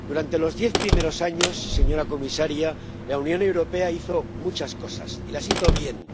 Durante los diez primeros años, señora comisaria, la Unión Europea hizo muchas cosas y las hizo bien